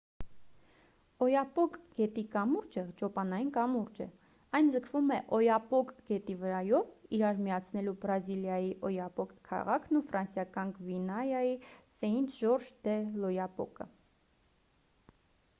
օյապոկ գետի կամուրջը ճոպանային կամուրջ է այն ձգվում է օյապոկ գետի վրայով իրար միացնելու բրազիլիայի օյապոկ քաղաքն ու ֆրանսիական գվիանայի սեինթ-ժորժ դե լ'օյապոկը